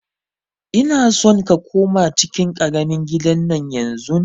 Ina son ka koma cikin ƙaramin gidan nan yanzun!